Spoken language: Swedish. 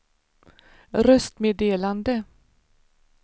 röstmeddelande